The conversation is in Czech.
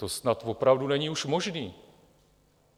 To snad opravdu není už možné.